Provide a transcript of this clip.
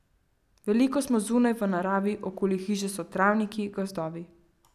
Veliko smo zunaj, v naravi, okoli hiše so travniki, gozdovi.